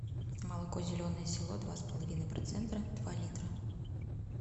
молоко зеленое село два с половиной процента два литра